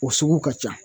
O sugu ka ca